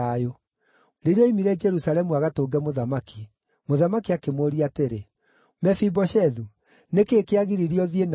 Rĩrĩa ooimire Jerusalemu agatũnge mũthamaki, mũthamaki akĩmũũria atĩrĩ, “Mefiboshethu, nĩ kĩĩ kĩagiririe ũthiĩ na niĩ?”